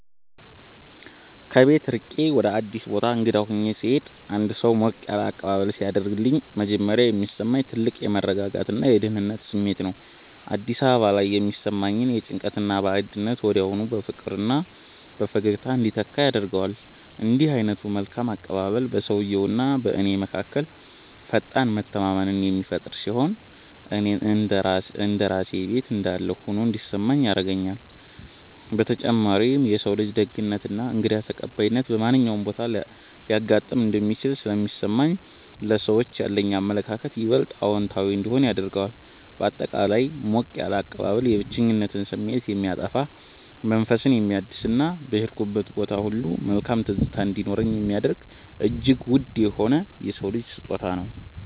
ከቤት ርቄ ወይም አዲስ ቦታ እንግዳ ሆኜ ስሄድ አንድ ሰው ሞቅ ያለ አቀባበል ሲያደርግልኝ መጀመሪያ የሚሰማኝ ትልቅ የመረጋጋትና የደህንነት ስሜት ነው። አዲስ አካባቢ ላይ የሚሰማኝን ጭንቀትና ባዕድነት ወዲያውኑ በፍቅርና በፈገግታ እንዲተካ ያደርገዋል። እንዲህ ዓይነቱ መልካም አቀባበል በሰውየውና በእኔ መካከል ፈጣን መተማመንን የሚፈጥር ሲሆን፣ እንደ ራሴ ቤት እንዳለሁ ሆኖ እንዲሰማኝ ይረዳኛል። በተጨማሪም የሰው ልጅ ደግነትና እንግዳ ተቀባይነት በማንኛውም ቦታ ሊያጋጥም እንደሚችል ስለሚያሳየኝ ለሰዎች ያለኝ አመለካከት ይበልጥ አዎንታዊ እንዲሆን ያደርገዋል። ባጠቃላይ ሞቅ ያለ አቀባበል የብቸኝነት ስሜትን የሚያጠፋ፣ መንፈስን የሚያድስና በሄድኩበት ቦታ ሁሉ መልካም ትዝታ እንዲኖረኝ የሚያደርግ እጅግ ውድ የሆነ የሰው ልጅ ስጦታ ነው።